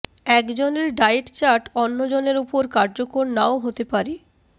একজনের diet chart অন্য জনের ওপর কার্যকর নাও হতে